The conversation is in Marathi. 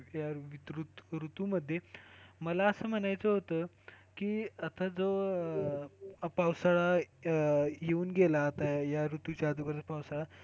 या या ऋतू मध्ये मला असं म्हणायचं होत की आता जो हा पावसाळा येऊन गेला आता या ऋतूच्या अगोदर पावसाळा.